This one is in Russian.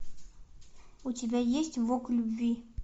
у тебя есть вок любви